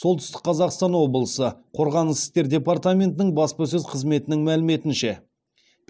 солтүстік қазақстан облысы қорғаныс істер департаментінің баспасөз қызметінің мәліметінше